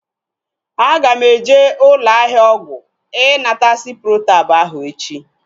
Aga m eje ụlọ ahịa ọgwụ ịnata ciprotab ahu echi